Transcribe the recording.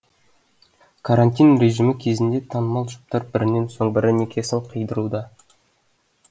карантин режимі кезінде танымал жұптар бірінен соң бірі некесін қидыруда